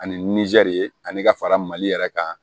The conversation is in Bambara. Ani nizɛri ani ka fara mali yɛrɛ kan